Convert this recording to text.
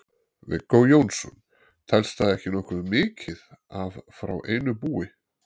Viggó Jónsson: Telst það ekki nokkuð mikið af frá einu búi?